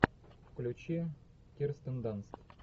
включи кирстен данст